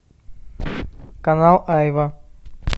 канал айва